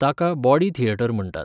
ताका body theatre म्हणटात.